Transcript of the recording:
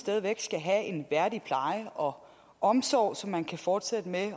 skal have en værdig pleje og omsorg så man kan fortsætte med